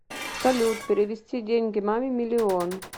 салют перевести деньги маме миллион